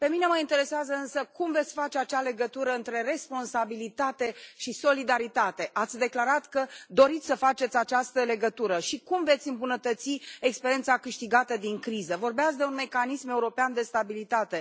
Pe mine mă interesează însă cum veți face acea legătură între responsabilitate și solidaritate, ați declarat că doriți să faceți această legătură, și cum veți îmbunătăți experiența câștigată din criză? Vorbeați de un mecanism european de stabilitate.